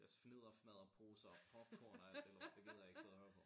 Deres fnidder fnadder poser og popcorn og alt det lort det gider jeg ikke side og høre på